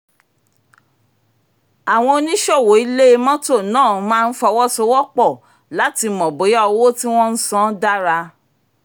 àwọn oníṣòwò ilẹ̀ mọ́tò máa ń fọwọ́sowọpọ̀ láti mọ bóyá owó tí wọ́n ń san dára